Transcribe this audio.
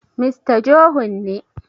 Mista Johun ne